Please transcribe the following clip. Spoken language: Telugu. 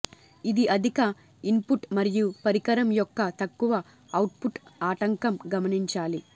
ఇది అధిక ఇన్పుట్ మరియు పరికరం యొక్క తక్కువ అవుట్పుట్ ఆటంకం గమనించాలి